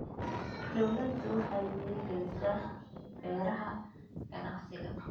Dawladdu waxay dhiirigelisaa beeraha ganacsiga.